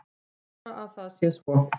Ég vona að það sé svo